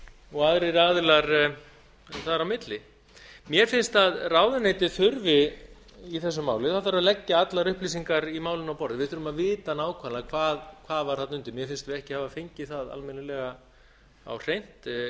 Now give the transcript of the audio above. og aðrir aðilar þar á milli mér finnst að ráðuneytið þurfi í þessu máli þá þarf að leggja allar upplýsingar í málinu á borðið við þurfum að vita nákvæmlega hvað var þarna undir mér finnst við ekki hafa fengið það almennilega á hreint